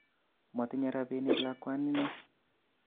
Motinye rabinik lakwanino